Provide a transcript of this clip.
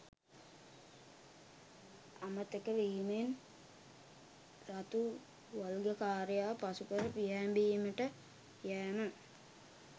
අමතක වීමෙන් රතු වල්ගකාරයා පසුකර පියෑඹීමට යෑම